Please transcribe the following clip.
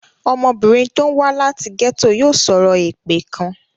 Ọmọbìnrin tó wá láti gẹ́tò yòò sọ̀rọ̀ èpè kan.